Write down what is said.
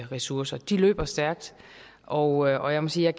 ressourcer de løber stærkt og og jeg må sige at